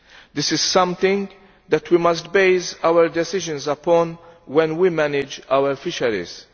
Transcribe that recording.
This is something that we must base our decisions upon when we manage our fisheries.